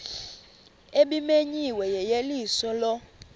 ebimenyiwe yeyeliso lo